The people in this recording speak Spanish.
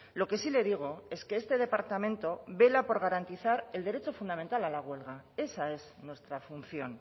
lo que sí le digo es que este departamento vela por garantizar el derecho fundamental a la huelga esa es nuestra función